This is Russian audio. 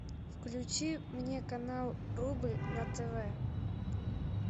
включи мне канал рубль на тв